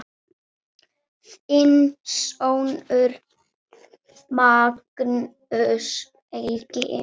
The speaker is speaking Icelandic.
Þinn sonur, Magnús Helgi.